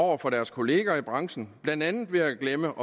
over for deres kolleger i branchen blandt andet ved at glemme